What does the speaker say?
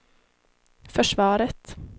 försvaret